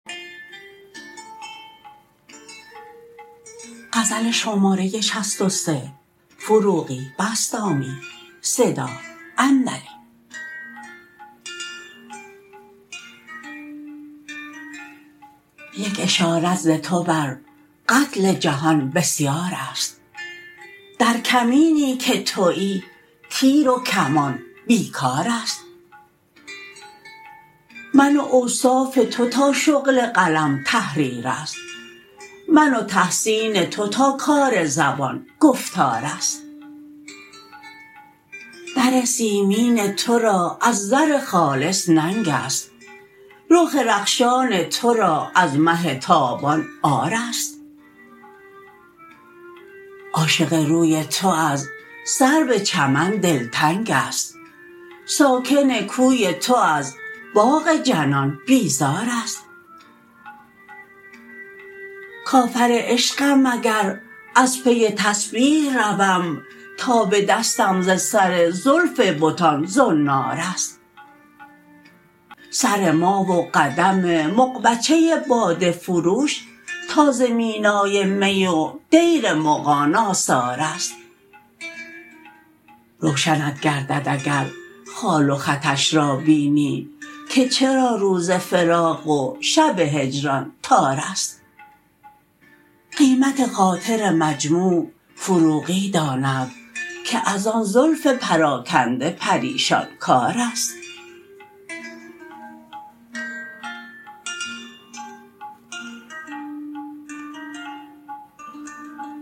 یک اشارت ز تو بر قتل جهان بسیار است در کمینی که تویی تیر و کمان بیکار است من و اوصاف تو تا شغل قلم تحریر است من و تحسین تو تا کار زبان گفتار است بر سیمین تو را از زر خالص ننگ است رخ رخشان تو را از مه تابان عار است عاشق روی تو از سرو چمن دلتنگ است ساکن کوی تو از باغ جنان بیزار است کافر عشقم اگر از پی تسبیح روم تا به دستم ز سر زلف بتان زنار است سر ما و قدم مغبچه باده فروش تا ز مینای می و دیر مغان آثار است روشنت گردد اگر خال و خطش را بینی که چرا روز فراق و شب هجران تار است قیمت خاطر مجموع فروغی داند که از آن زلف پراکنده پریشان کار است